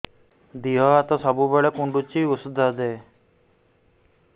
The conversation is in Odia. ଦିହ ହାତ ସବୁବେଳେ କୁଣ୍ଡୁଚି ଉଷ୍ଧ ଦେ